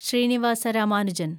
Srinivasa Ramanujan